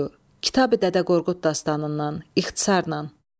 Kitab-ı Dədə Qorqud Dastanından ixtisarla.